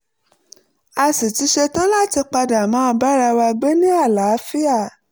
a sì ti ṣetán láti padà máa bára wa gbé ní àlàáfíà